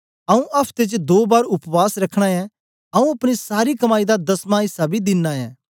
आऊँ अफ्ते च दो बार उपवास रखना ऐं आऊँ अपनी सारी कमाई दा दसवाँ ऐसा बी दिना ऐं